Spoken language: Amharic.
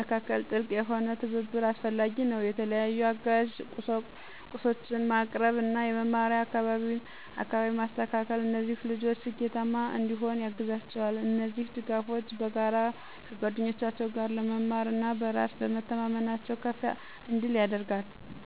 መካከል ጥልቅ የሆነ ትብብር አስፈላጊ ነው። የተለያዩ አጋዥ ቁሳቁሶችን ማቅረብ እና የመማሪያ አካባቢን ማስተካከል እነዚህ ልጆች ስኬታማ እንዲሆኑ ያግዛቸዋል። እነዚህ ድጋፎች በጋራ ከጓደኞቻቸው ጋር ለመማር እና በራስ በመተማመናቸው ከፍ እንዲል ያደርጋል።